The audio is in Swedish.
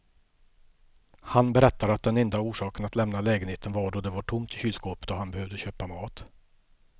Han berättade att den enda orsaken att lämna lägenheten var då det var tomt i kylskåpet och han behövde köpa mat.